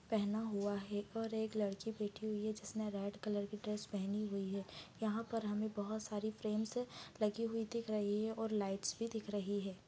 --पहना हुआ है और एक लडकी बैठी हुई है जिसने रेड कलर की ड्रेस पहनी हुई है यहां पर हमें बहुत सारी फ्रेम्स लगी हुई दिख रही है और लाइट्स भी दिख रही है।